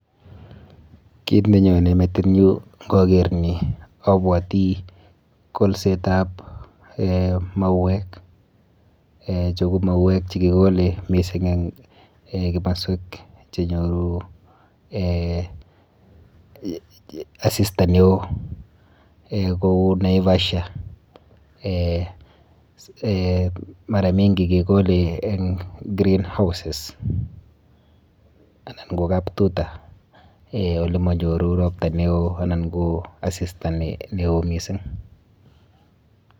Kit nenyone metinyu nkaker ni abwoti kolsetap eh mauek. Eh chu ko mauek chekikole mising eng eh kimoswek chenyoru eh asista neo kou eh Naivasha. Eh mara mingi kekole eng green houses anan ko kap tuta eh olemanyoru ropta neo anan ko asista neo mising.